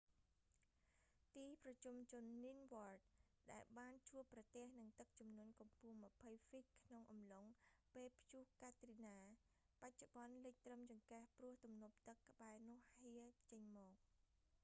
ទីប្រជុំជន ninth ward ដែលបានជួបប្រទេះនឹងទឹកជំនន់កម្ពស់ 20 ហ្វីតក្នុងអំឡុងពេលព្យុះកាទ្រីណា បច្ចុប្បន្នលិចត្រឹមចង្កេះព្រោះទំនប់ទឹកក្បែរនោះហៀរចេញមក